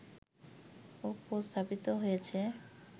উপস্থাপিত হয়েছে